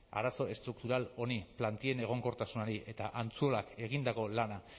arazo estruktural honi plantillen egonkortasunari eta antzuolak egindako lana